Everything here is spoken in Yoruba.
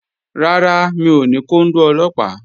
Rárá, mi ò ní kóndó Ọlọ́pàá